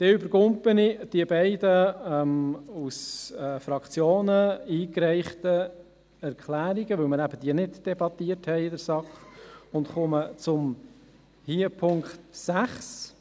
Ich überspringe die beiden von Fraktionen eingereichten Erklärungen, weil wir diese in der SAK eben nicht debattiert haben, und komme zum Punkt 6.